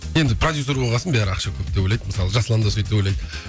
енді продюссер болған соң бәрі ақша көп деп ойлайды мысалы жасұлан да сөйтіп ойлайды